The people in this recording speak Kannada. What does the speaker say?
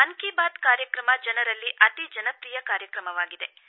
ಮನ್ ಕಿ ಬಾತ್ ಕಾರ್ಯಕ್ರಮ ಜನರಲ್ಲಿ ಅತಿ ಜನಪ್ರಿಯ ಕಾರ್ಯಕ್ರಮವಾಗಿದೆ